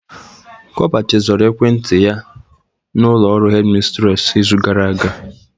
Copa chezoro ekwent yaị n'ụlọ ọrụ hedimistress izu gara aga.